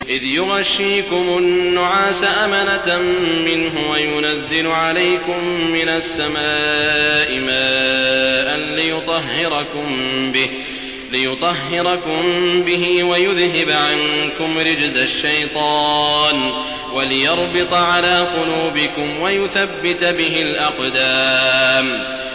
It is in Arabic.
إِذْ يُغَشِّيكُمُ النُّعَاسَ أَمَنَةً مِّنْهُ وَيُنَزِّلُ عَلَيْكُم مِّنَ السَّمَاءِ مَاءً لِّيُطَهِّرَكُم بِهِ وَيُذْهِبَ عَنكُمْ رِجْزَ الشَّيْطَانِ وَلِيَرْبِطَ عَلَىٰ قُلُوبِكُمْ وَيُثَبِّتَ بِهِ الْأَقْدَامَ